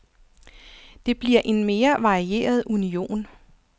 Det bliver en mere varieret union.